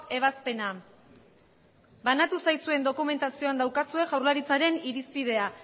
ebazpena banatu zaizuen dokumentazioan daukazue jaurlaritzaren irizpidea